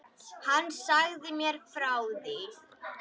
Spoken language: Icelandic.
Hann sagði mér frá því.